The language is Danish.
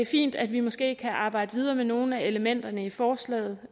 fint at vi måske kan arbejde videre med nogle af elementerne i forslaget